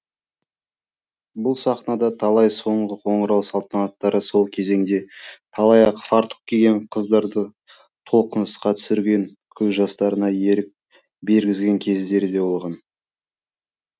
бұл сахнада талай соңғы қоңырау салтанаттары сол кезеңде талай ақ фартук киген қыздарды толқынысқа түсірген көз жастарына ерік бергізген кездері де болған